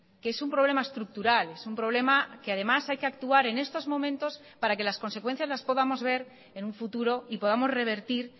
que es un problema estructural es un problema que además hay que actuar en estos momentos para que las consecuencias las podamos ver en un futuro y podamos revertir